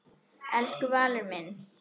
Elsku Valur minn.